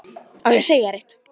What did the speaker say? Á ég að segja þér eitt?